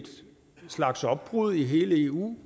slags opbrud i hele eu